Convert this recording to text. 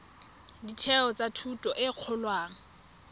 ditheo tsa thuto e kgolwane